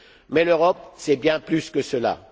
Mais l'Europe, c'est bien plus que cela.